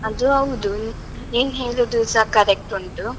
ಅದು ಹೌದು, ನೀನ್ ಹೇಳುದುಸಾ correct ಉಂಟು.